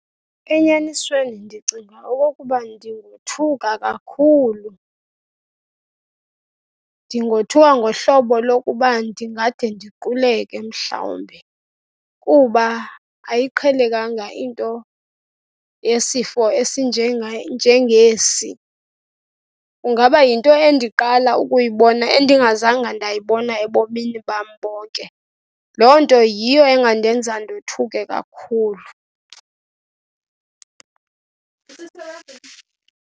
Enyanisweni ndicinga okokuba ndingothuka kakhulu. Ndingothuka ngohlobo lokuba ndingade ndiquleke mhlawumbi kuba ayiqhelekanga into yesifo njengesi. Kungaba yinto endiqala ukuyibona, endingazanga ndayibona ebomini bam bonke. Loo nto yiyo engandenza ndothuke kakhulu.